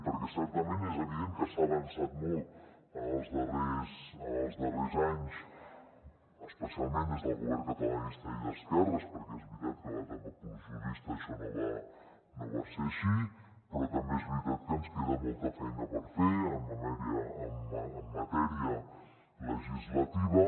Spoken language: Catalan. perquè certament és evident que s’ha avançat molt en els darrers anys especialment des del govern catalanista i d’esquerres perquè és veritat que a l’etapa pujolista això no va ser així però també és veritat que ens queda molta feina per fer en matèria legislativa